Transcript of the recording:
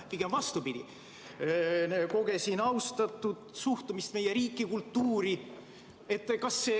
Pigem vastupidi, kogesin austavat suhtumist meie riiki ja kultuuri.